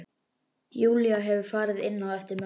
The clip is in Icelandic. Júlía hefur farið inn á eftir mömmu.